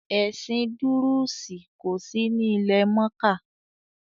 “Ẹ̀sìn dúrúùsì” kòsí ní ilẹ̀-mọ́kà.